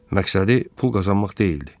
Məqsədi pul qazanmaq deyildi.